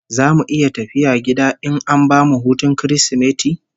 Zamu iya tafiya gida in an bamu hutun Kirsimeti?